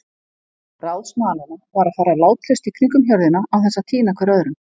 Ráð smalanna var að fara látlaust í kringum hjörðina án þess að týna hver öðrum.